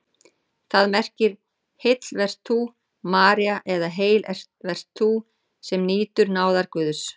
Það merkir: Heil vert þú, María eða Heil vert þú, sem nýtur náðar Guðs.